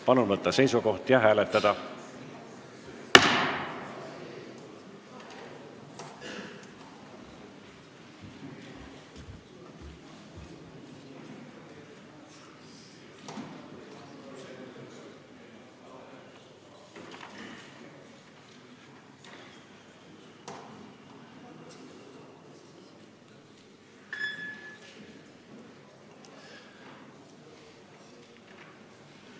Palun võtta seisukoht ja hääletada!